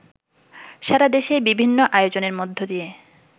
সারাদেশে বিভিন্ন আয়োজনের মধ্য দিয়ে